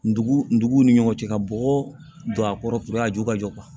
Ndugu nduguw ni ɲɔgɔn cɛ ka bɔgɔ don a kɔrɔ a ju ka jɔ